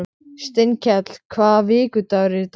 Steinkell, hvaða vikudagur er í dag?